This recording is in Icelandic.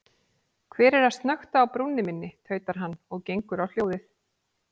Hver er að snökta á brúnni minni, tautar hann og gengur á hljóðið.